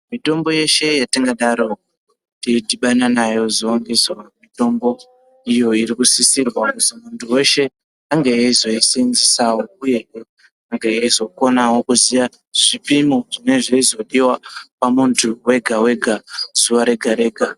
Mitombo yeshe yetingadaro teidhibana nayo zuva ngezuva, mitombo iyo irikusisirwa kuti muntu weshe ange eizoisenzesawo uyehe eizokonawo kuziya zvipimo zvinenge zveizodiwa pamuntu wega-wega, zuva rega-rega.